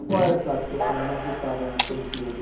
E qual era o prato que a senhora mais gostava na época de criança?